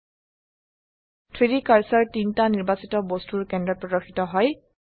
3ডি কাৰ্সাৰ 3টা নিৰ্বাচিত বস্তুৰ কেন্দ্ৰত প্ৰদৰ্শিত হয়